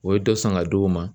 O ye dɔ san ka di o ma